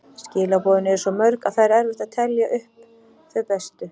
Skilaboðin eru svo mörg og það er erfitt að telja upp þau bestu.